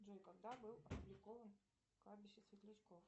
джой когда был опубликован кладбище светлячков